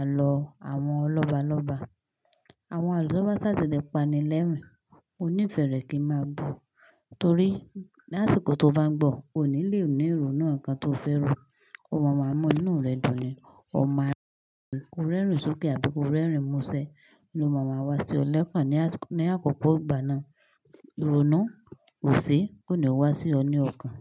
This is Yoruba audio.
àlọ́ àwọn lọ́balọ́ba. Àwọn àlọ́ to bá ṣàtile pani lẹ́rìn, mó ní ìfẹ́ rẹ kí n máa gbọ́. Torí lásìkò tó bá ń gbọ́, o ní lè ní ìrònú ǹkan tó o fẹ́ ro. Òun máa mọ inú rẹ dùn ni, o máa rí ẹ̀rù sókè àbí ko rẹ́rìn mọ́ṣẹ́. Òun máa wá sí ọ lẹ́ẹ̀kan ní àkókò ìgbà náà. Ìrònú ò ṣe é kó ni wá sí ọ ní ọ̀kan.